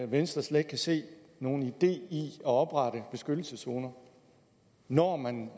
venstre slet ikke kan se nogen idé i at oprette beskyttelseszoner når man